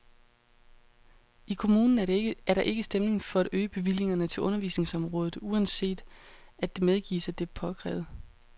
I kommunen er der ikke stemning for at øge bevillingerne til undervisningsområdet, uanset at det medgives, at det er påkrævet.